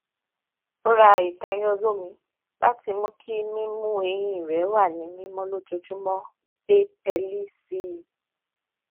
ó ra ìtayín olómi láti mú kí mímú eyín rẹ wà ní mímọ lójoojúmọ gbé pẹẹlí sí i